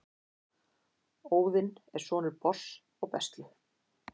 Óðinn er sonur Bors og Bestlu.